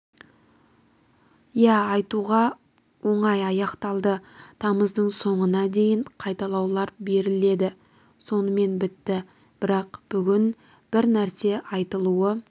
иә айтуға оңай аяқталды тамыздың соңына дейін қайталаулар беріледі сонымен бітті бірақ бүгін бір нәрсе айтылуы